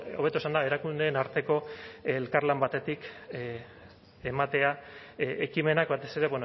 hobeto esanda erakundeen arteko elkarlan batetik ematea ekimenak batez ere